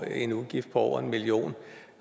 en udgift på over en million